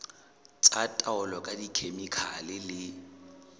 tsa taolo ka dikhemikhale le